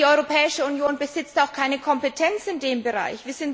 Denn die Europäische Union besitzt auch keine Kompetenz in diesem Bereich.